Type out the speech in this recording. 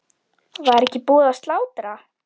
Var ekki búið að slátra?